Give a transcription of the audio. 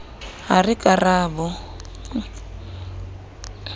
ha re ka ra bo